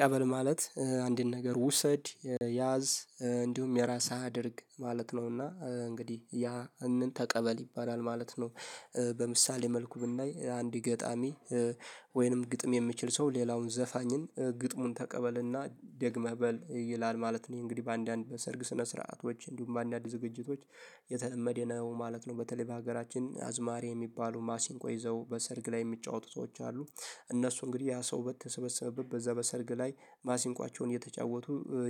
ቀበል ማለት አንድን ነገር ውሰድ ያዝ እንዲሁም የራሳ አድርግ ማለት ነውና እንግዲህ ያንን ተቀበል ይባላል ማለት ነው። በምሳሌ መልኩ ብናይ አንድ ገጣሚ ወይንም ግጥም የምችል ሰው ሌላውን ዘፋኝን ግጥሙን ተቀበልና ደግመህ በል ይላል ማለት ነው። እንግዲህ በአንዳንድ በሰርግ ስነ ስርዓቶች እንዲሁም በአንዳንድ ዝግጅቶች የተለመደ ነው ማለት ነው። በተለይ በሀገራችን አዝማሪ የሚባሉ ማሲንቆ ይዘው በሰርግ ላይ የሚጫወቱ ሰዎች አሉ። እነሱ እንግዲህ ያ ሰው በተሰበሰበበት በዛ በሰርግ ላይ ማሲንቆቸውን እየተጫወቱ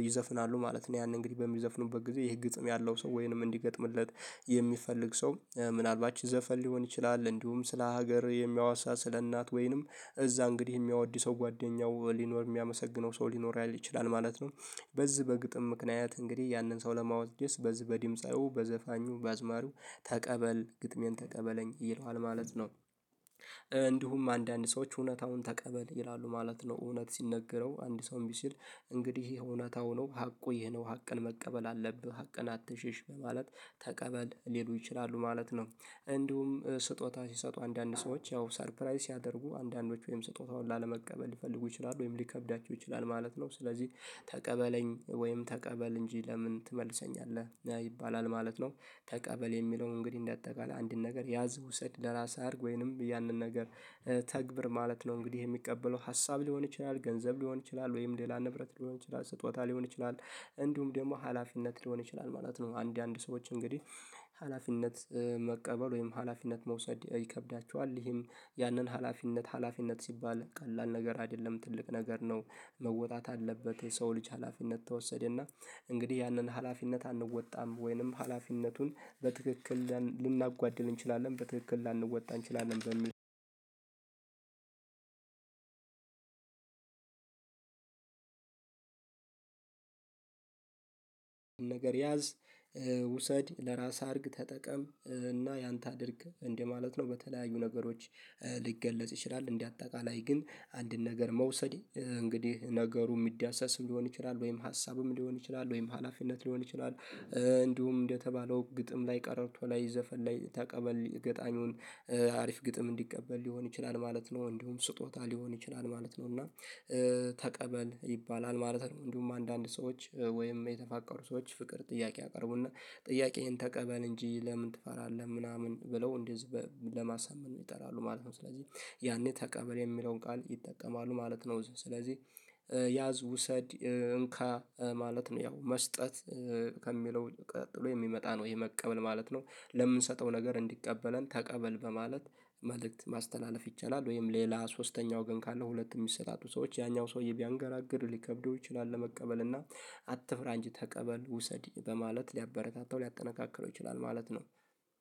ይዘፍናሉ ማለት ነው። ያንን እንግዲህ በሚዘፍኑበት ጊዜ ይሄ ግጥም ያለው ሰው ወይንም እንዲገጥምለት የሚፈልግ ሰው ምናልባት ዘፈን ሊሆን ይችላል እንዲሁም ስለ ሀገር የሚያዋሳ ስለ እናት ወይንም እዛ እንግዲህ የሚያወድሰው ጓደኛው ሊኖር የሚያመሰግነው ሰው ሊኖር ያልይ ይችላል ማለት ነው። በዚህ በግጥም ምክንያት እንግዲህ ያንን ሰው ለማወድ ደስ በዚህ በዲምጻዩ በዘፋኙ በአዝማሩ ተቀበል ግጥሜን ተቀበለኝ ይለዋል ማለት ነው። እንዲሁም አንዳንድ ሰዎች እውነታውን ተቀበል ይላሉ ማለት ነው። እውነት ሲነገረው አንድ ሰው እንቢ ሲል። እንግዲህ እውነታው ነው ሀቁ ይሄ ነው ሀቀን መቀበል አለብህ ሀቅን አትሽሽ በማለት ተቀበል ሊሉ ይችላሉ ማለት ነው። እንዲሁም ስጦታ ሲሰጡ አንዳንድ ሰዎች ያው ሰርፕራይዝ ሲያደርጉ አንዳንዶች ወይም ስጦታውን ላለመቀበል ልፈልጉ ይችላሉ ወይም ሊከብዳቸው ይችላል ማለት ነው። ስለዚህ ተቀበለኝ ወይም ተቀበል እንጂ ለምን ትመልሰኛለህ ይባላል ማለት ነው። ተቀበል የሚለው እንግዲህ እንደጠቃላይ አንድን ነገር ያዝ ውሰድ ለራስ አድርግ ወይንም ያንን ነገር ተግብር ማለት ነው። እንግዲህ የሚቀበለው ሀሳብ ሊሆን ይችላል ገንዘብ ሊሆን ይችላል ወይም ሌላ ንብረት ሊሆን ይችላል ስጦታ ሊሆን ይችላል። እንዲሁም ደግሞ ሀላፊነት ሊሆን ይችላል ማለት ነው አንድ አንድ ሰዎች እንግዲህ። ሀላፊነት መቀበል ወይም ሀላፊነት መውሰድ ይከብዳቸዋል። ይህም ያንን ሀላፊነት ሀላፊነት ሲባል ቀላል ነገር አይደለም ትልቅ ነገር ነው። መወጣት አለበት የሰው ልጅ ሀላፊነት ተወሰደና። እንግዲህ ያንን ሀላፊነት አንወጣም ወይንም ሀላፊነቱን በትክክል ልናጓድል እንችላለን በትክክል ላንወጣ እንችላለን በሚል። ነገር ያዝ ውሰድ ለራስህ አድርግ ተጠቀም እና ያአንተ አድርግ እንደማለት ነው። በተለያዩ ነገሮች ሊገለጽ ይችላል። እንደ አጠቃላይ ግን። አንድን ነገር መውሰድ እንግዲህ ነገሩ የሚዳሰስ ሊሆን ይችላል ወይም ሀሳብም ሊሆን ይችላል ወይም ሀላፊነት ሊሆን ይችላል እንዲሁም እንደተባለው ግጥም ላይ ቀረርቶ ላይ ዘፈን ላይ ተቀበል ገጣምውን አሪፍ ግጥም እንዲቀበል ሊሆን ይችላል ማለት ነው። እንዲሁም ስጦታ ሊሆን ይችላል ማለት ነው። እና ተቀበል ይባላል ማለት ነው። እንዲሁም አንዳንድ ሰዎች ወይም የተፋቀሩ ሰዎች ፍቅር ጥያቄ ያቀርቡና ጥያቄዬን ተቀበል እንጂ ለምን ትፈራለህ ምናምን ብለው እንደዚህ ለማሳመን ይጠራሉ ማለት ነው። ስለዚህ ያኔ ተቀበል የሚለውን ቃል ይጠቀማሉ ማለት ነው። ስለዚህ ያዝ ውሰድ እንካ ማለት ነው። ያው መስጠት ከሚለው ቀጥሎ የሚመጣ ነው ይሄ መቀበል ማለት ነው። ለምንሰጠው ነገር እንዲቀበለን ተቀበል በማለት መልእክት ማስተላለፍ ይቻላል። ወይም ሌላ ሶስተኛው ግን ካለ ሁለት የሚሰጣጡ ሰዎች ያኛው ሰውዬ ቢያንገራግር ሊከብደው ይችላል። ለመቀበል እና አትፍራ እንጅ ተቀበል ውሰድ በማለት ሊያበረታታው ሊያጠናከክረው ይችላል ማለት ነው።